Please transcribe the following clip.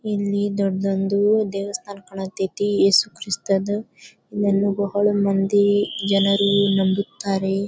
ಇಲ್ಲಿ ದೊಡ್ಡ ಒಂದು ದೇವಸ್ಥಾನ ಕಾಣ್ತೈತಿ ಏಸುಕ್ರಿಸ್ತದ ಇಲ್ಲಿ ಬಹಳ ಮಂದಿ ಜನರು ನಂಬುತಾರೆ.